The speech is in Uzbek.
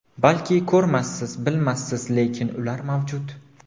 Balki ko‘rmassiz, bilmassiz, lekin ular mavjud.